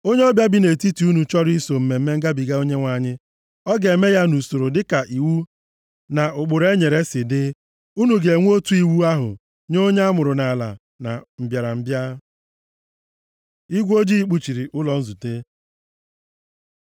“ ‘Onye ọbịa bi nʼetiti unu chọrọ iso na Mmemme Ngabiga Onyenwe anyị, ọ ga-eme ya nʼusoro dịka iwu na ụkpụrụ e nyere si dị. Unu ga-enwe otu iwu ahụ nye onye amụrụ nʼala na mbịarambịa.’ ” Igwe ojii kpuchiri ụlọ nzute